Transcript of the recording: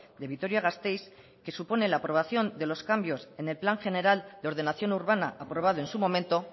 de vitoria gasteiz que supone la aprobación de los cambios en el plan general de ordenación urbana aprobado en su momento